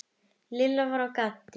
Lilla var á gatinu.